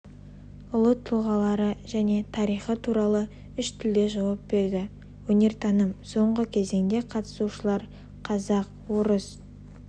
ұлы тұлғалары және тарихы туралы үш тілде жауап берді өнертаным соңғы кезеңде қатысушылар қазақ орыс